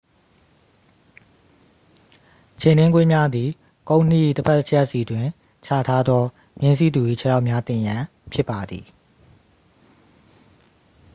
ခြေနင်းကွင်းများသည် ကုန်းနှီး၏တစ်ဖက်တစ်ချက်စီတွင် ချထားသော မြင်းစီးသူ၏ခြေထောက်များတင်ရန် ဖြစ်ပါသည်